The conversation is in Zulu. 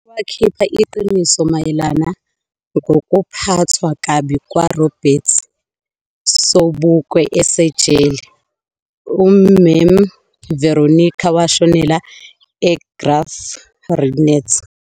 Wakhipa iqiniso mayelana ngokuphatwa kabi kwa Robert Sobukwe asejele. uMam Veronica washonela eGraaf-Reinet.